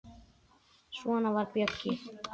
Svona var Bjöggi.